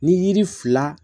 Ni yiri fila